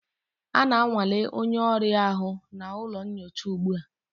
A na-anwale onye ọrịa ahụ n'ụlọ nyocha ugbu a